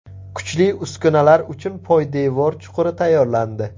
Kuchli uskunalar uchun poydevor chuquri tayyorlandi.